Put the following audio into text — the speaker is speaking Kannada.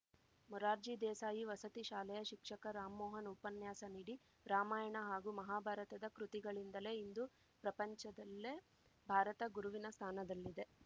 ಮುರಾರ್ಜಿ ದೇಸಾಯಿ ವಸತಿ ಶಾಲೆಯ ಶಿಕ್ಷಕ ರಾಮ್ ಮೋಹನ್‌ ಉಪನ್ಯಾಸ ನೀಡಿ ರಾಮಾಯಣ ಹಾಗೂ ಮಹಾಭಾರತದ ಕೃತಿಗಳಿಂದಲೇ ಇಂದು ಪ್ರಪಂಚದಲ್ಲೇ ಭಾರತ ಗುರುವಿನ ಸ್ಥಾನದಲ್ಲಿದೆ